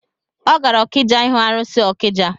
Ọ gara okija ihu arụsị ọkija